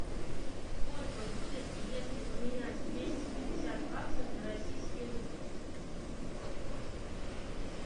сколько будет если поменять двести пятьдесят баксов на российские рубли